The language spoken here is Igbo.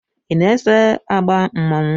I na-eso agba mmanwụ?